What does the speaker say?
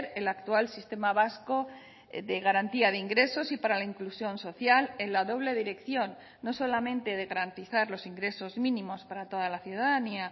el actual sistema vasco de garantía de ingresos y para la inclusión social en la doble dirección no solamente de garantizar los ingresos mínimos para toda la ciudadanía